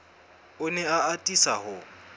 o ne a atisa ho